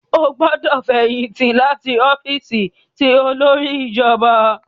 O gbọdọ fẹyìntì láti ọfiisi ti olórí ìjọba!